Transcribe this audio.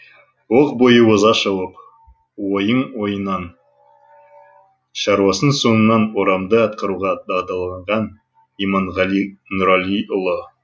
оқ бойы оза шауып ойын ойыннан шаруасын соңынан орамды атқаруға дағдыланған иманғали нұралиұлы